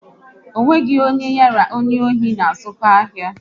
Ọ nweghị onye ya na onye asị na-azụko ahia